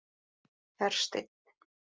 Hersteinn